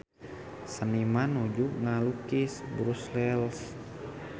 Seniman nuju ngalukis Brussels